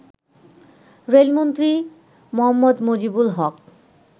রেলমন্ত্রী মোঃ মুজিবুল হক